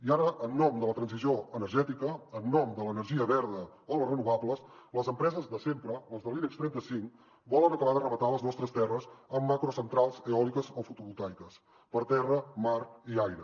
i ara en nom de la transició energètica en nom de l’energia verda o les renovables les empreses de sempre les de l’ibex trenta cinc volen acabar de rematar les nostres terres amb macrocentrals eòliques o fotovoltaiques per terra mar i aire